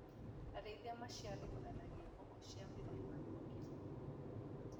Arĩithia maciarithanagia mbũkũ cia mĩthemba mĩingĩ.